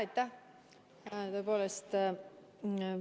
Aitäh!